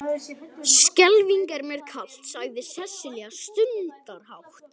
Skelfing er mér kalt, sagði Sesselja stundarhátt.